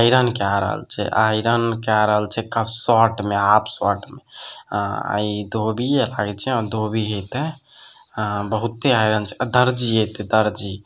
iron काय रहल छै आयरन काय रहल छै शर्ट में हाफ शर्ट में अ ई धोबी